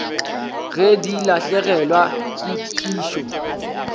ge di lahlegelwa ke phišo